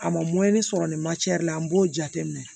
A ma sɔrɔ nin la n b'o jateminɛ